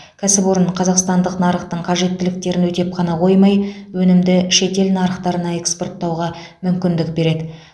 кәсіпорын қазақстандық нарықтың қажеттіліктерін өтеп қана қоймай өнімді шетел нарықтарына экспорттауға мүмкіндік береді